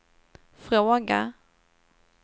fråga